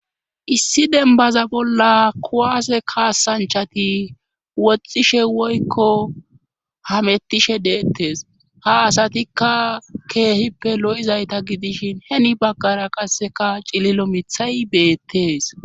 issi dembaza bolla kowaase kaasanchati woxxishe woykko hamettishe deettes ha asatikka keehippe lo7izayta gidishin heni baggara qasseka cililo mithay beettees